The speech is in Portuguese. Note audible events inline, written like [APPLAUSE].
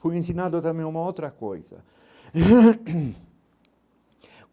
Fui ensinado também uma outra coisa. [COUGHS]